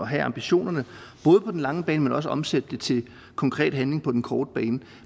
have ambitionerne på den lange bane men også omsætte dem til konkret handling på den korte bane